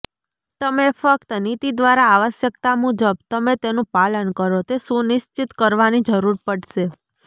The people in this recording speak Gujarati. તમે ફક્ત નીતિ દ્વારા આવશ્યકતા મુજબ તમે તેનું પાલન કરો તે સુનિશ્ચિત કરવાની જરૂર પડશે